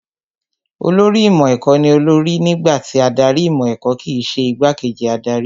Olórí ìmọ̀ ẹ̀kọ́ ní olórí nígbà tí adarí ìmọ̀ ẹ̀kọ́ kìí ṣe igbá kejì adarí